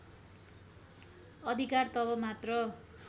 अधिकार तब मात्र